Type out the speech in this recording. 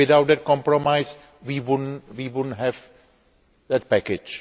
Without that compromise we would not have that package.